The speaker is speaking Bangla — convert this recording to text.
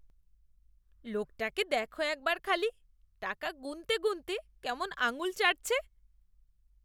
লোকটাকে দেখো একবার খালি। টাকা গুণতে গুণতে কেমন আঙ্গুল চাটছে।